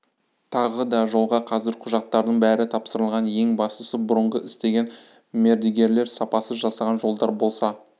тағы да жолға қазір құжаттардың бәрі тапсырылған ең бастысы бұрынғы істеген мердігерлер сапасыз жасаған жолдар болса